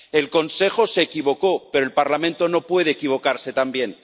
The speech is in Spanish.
El Consejo se equivocó, pero el Parlamento no puede equivocarse también.